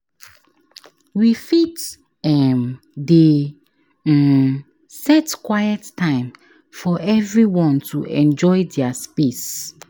We fit um dey um set quiet time for everyone to enjoy dia space.